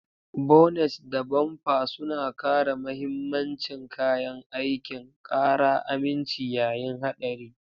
Bonet da bampa suna kare mahimmancin kayan aikin, ƙara aminci yayin haɗari.